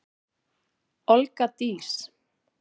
Olga Dís.